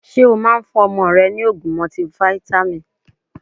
Ṣé o Máa ń fún ọmọ rẹ ni ogún mọtifáítámì?